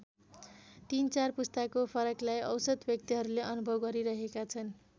तीन चार पुस्ताको फरकलाई औसत व्यक्तिहरूले अनुभव गरिरहेका छन्।